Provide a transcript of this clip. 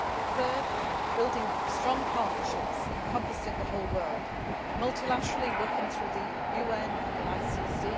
Third, building strong partnerships encompassing the whole world multilaterally working through the UN and the